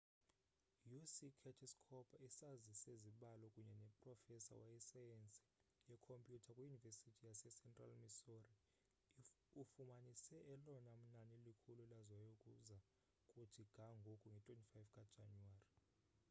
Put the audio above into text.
uc curtis cooper isazi sezibalo kunye noprofesa wesayensi yeekhompyuter kwiyunivesithi yasecentral missouri ufumanise elona nani likhulu laziwayo ukuza kuthi ga ngoku nge-25 kajanuwari